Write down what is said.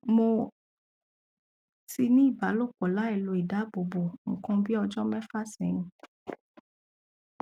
mo ti ní ìbálòpọ lailo idáàbòbo nǹkan bí ọjọ mẹfà sẹyìn